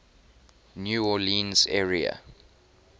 new orleans area